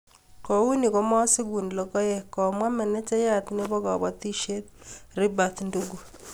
kou noe komosiku lokoek, komwa menejayat nebo kabotisiet, Ribert Ndungu